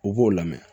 U b'o lamɛn